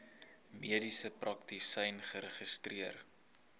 mediese praktisyn geregistreer